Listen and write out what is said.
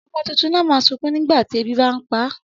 Ọmọ tuntun náà ma sunkún nígbàtí ebi bá ń pá